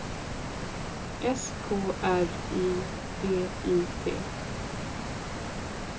S K R I V I T